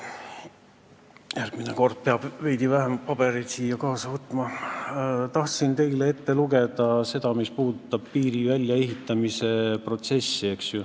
Järgmine kord peab siia veidi vähem pabereid kaasa võtma: tahtsin teile ette lugeda seda, mis puudutab piiri väljaehitamise protsessi.